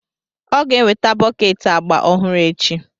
Ọ ga-eweta bọket agba ọhụrụ echi.